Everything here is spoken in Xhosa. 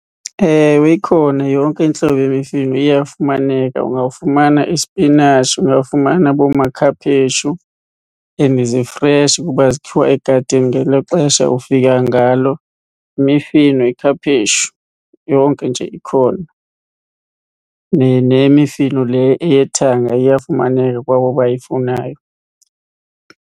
Ewe, ikhona yonke intlobo yemifino iyafumaneka. Ungafumana isipinatshi, ungafumana boomakhaphetshu, and zifreshi kuba zikhiwa egadini ngelo xesha ufika ngalo. Imifino, yikhaphetshu, yonke nje ikhona nemifino le eyethanga iyafumaneka kwabo abayifunayo.